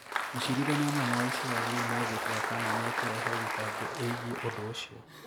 Mũcirithania mũnene wa Isiraeli rĩu nĩ egũtua kana nĩ ekũrehe thitango ĩgiĩ ũndũ ũcio.